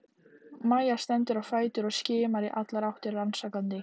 Mæja stendur á fætur og skimar í allar áttir rannsakandi.